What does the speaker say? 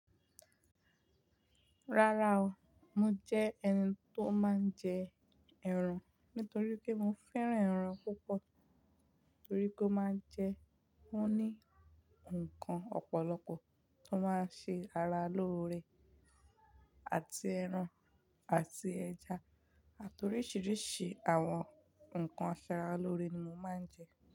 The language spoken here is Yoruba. Rárá o, mo jẹ́ ẹni tó máa n jẹ ẹran nítorí pé mo fẹ́ràn ẹran púpọ̀ torí pé ó máa ń jẹ, ó ní nǹkan ọ̀pọ̀lọpọ̀ tó máa ń ṣe ara lóore àti ẹran àti ẹja àti oríṣiríṣi àwọn nǹkan asaralóore ni mo máa ń jẹ.